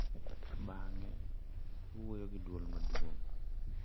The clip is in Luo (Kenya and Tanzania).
Bang’e, iwuoyo gi dwol maduong’.